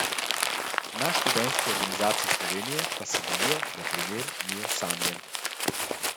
Na Študentski organizaciji Slovenije pa se bojijo, da primer ni osamljen.